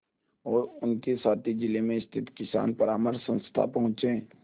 और उनके साथी जिले में स्थित किसान परामर्श संस्था पहुँचे